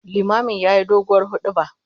Limamin yayi doguwar huduba